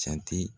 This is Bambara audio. Jate